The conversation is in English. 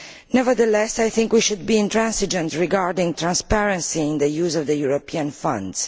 Nevertheless, I think we should be intransigent regarding transparency in the use of European funds.